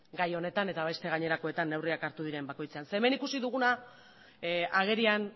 gai honetan eta beste gainerakoetan neurriak hartu diren bakoitzean hemen agerian